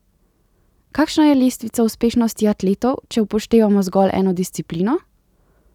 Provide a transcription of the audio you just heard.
Kakšna je lestvica uspešnosti atletov, če upoštevamo zgolj eno disciplino?